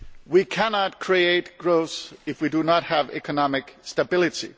We cannot create growth if we do not have economic stability.